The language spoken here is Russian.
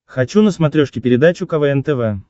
хочу на смотрешке передачу квн тв